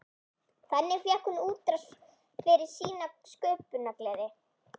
Þannig fékk hún útrás fyrir sína sköpunargleði.